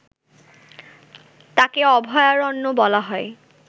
তাকে অভয়ারণ্য বলা হয়